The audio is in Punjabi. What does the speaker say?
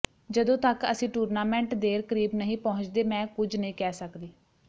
ਜਦੋਂ ਤੱਕ ਅਸੀਂ ਟੂਰਨਾਮੈਂਟ ਦੇਰ ਕਰੀਬ ਨਹੀਂ ਪਹੁੰਚਦੇ ਮੈਂ ਕੁਝ ਨਹੀਂ ਕਹਿ ਸਕਦੀ